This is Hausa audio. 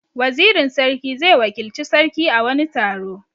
Wazirin sarki zai wakilci sarki a wani taro.